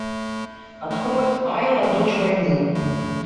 открой айла дочь войны